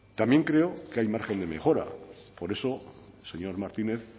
también creo que el margen de mejora por eso señor martínez